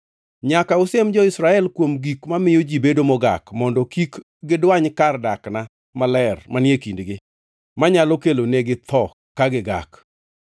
“ ‘Nyaka usiem jo-Israel kuom gik mamiyo ji bedo mogak, mondo kik gidwany kar dakna maler manie kindgi, manyalo kelonegi tho ka gigak.’ ”